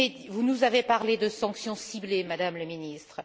Vous nous avez parlé de sanctions ciblées, Madame la Ministre.